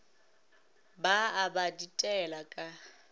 ba a ba ditela ka